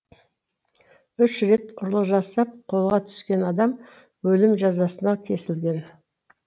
үш рет ұрлық жасап қолға түскен адам өлім жазасына кесілген